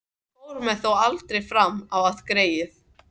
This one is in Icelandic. Hann fór þó aldrei fram á það, greyið.